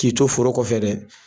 K'i to foro kɔfɛ dɛ